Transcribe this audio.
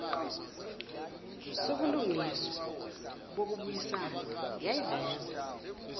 sobulungiswa bokubuyisana yayiveza